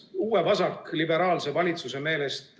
... uue vasakliberaalse valitsuse meelest ...